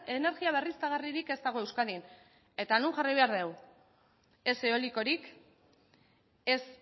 energia berriztagarririk ez dago euskadin eta non jarri behar dugu ez eolikorik ez